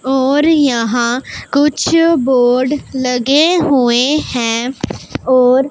और यहां कुछ बोर्ड लगे हुए हैं और--